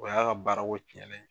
O y'a baara ko ɲɛnnen ye.